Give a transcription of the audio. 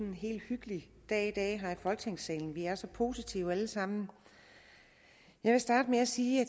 en helt hyggelig dag i dag her i folketingssalen vi er så positive alle sammen jeg vil starte med at sige at